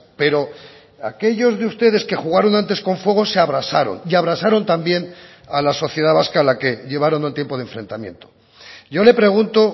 pero aquellos de ustedes que jugaron antes con fuego se abrasaron y abrasaron también a la sociedad vasca a la que llevaron un tiempo de enfrentamiento yo le pregunto